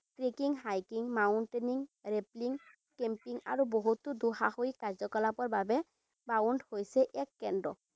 Trekking, hiking, mountaineering camping আৰু বহুতো দুঃসাহসিক কাৰ্যকলাপৰ বাবে হৈছে এক কেন্দ্ৰ।